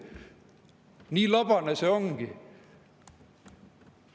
Nii labane see ongi.